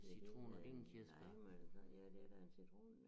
Ja den en øh lime og ja det da en citron